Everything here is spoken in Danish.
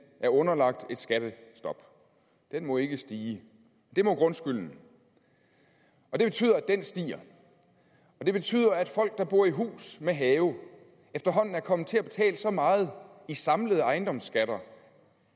er underlagt et skattestop den må ikke stige det må grundskylden og det betyder at den stiger og det betyder at folk der bor i hus med have efterhånden er kommet til at betale så meget i samlede ejendomsskatter